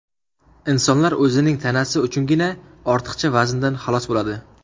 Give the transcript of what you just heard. Insonlar o‘zining tanasi uchungina ortiqcha vazndan xalos bo‘ladi.